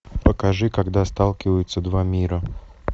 покажи когда сталкиваются два мира